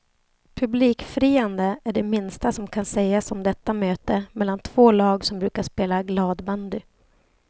Publikfriande är det minsta som kan sägas om detta möte mellan två lag som brukar spela gladbandy.